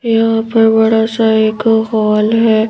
यहाँ पर बड़ा सा एक हॉल है।